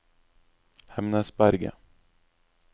Hemnesberget